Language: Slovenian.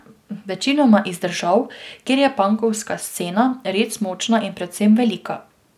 Večinoma iz držav, kjer je pankovska scena res močna in predvsem velika.